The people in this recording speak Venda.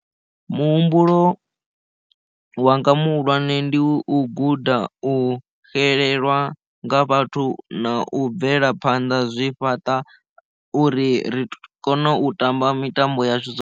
Muhumbulo wa nga muhulwane ndi u guda u xelelwa nga vhathu na u bvelaphanḓa zwi fhaṱa uri ri kone u tamba mitambo ya zwi.